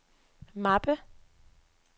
mappe